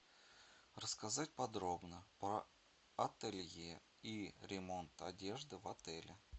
рассказать подробно про ателье и ремонт одежды в отеле